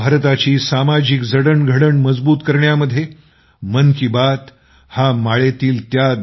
भारताची सामाजिक जडणघडण मजबूत करण्यामध्ये मन की बात हा माळेतील उभ्या आडव्या